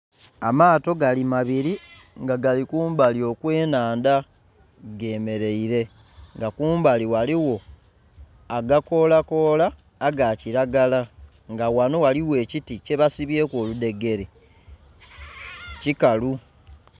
Amato gali mabiri nga gali kumbali okwe nhandha gemereire nga kumbali ghaligho agakola kola aga kilagala nga ghanhiriza ghaligho ekiti kye basibyeku oludhegere kikalu.